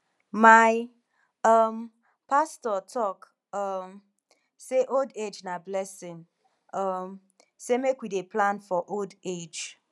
my um pastor talk um sey old age na blessing um sey make we dey plan for old age